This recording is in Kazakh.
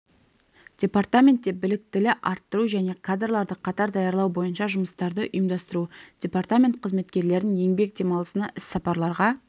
департаментте біліктілі арттыру және кадрларды қатар даярлау бойынша жұмыстарды ұйымдастыру департамент қызметкерлерін еңбек демалысына іс-сапарларға